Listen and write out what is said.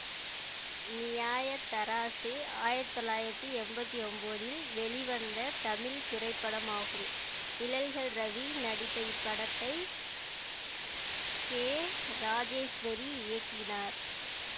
நியாய தராசு ஆயிரத்தி தொள்ளாயிரத்தி என்பத்தி ஒன்போதில் வெளிவந்த தமிழ் திரைப்படமாகும் நிழல்கள் ரவி நடித்த இப்படத்தை கே ராஜேஸ்வரி இயக்கினார்